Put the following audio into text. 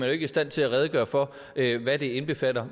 ikke i stand til at redegøre for hvad det indbefatter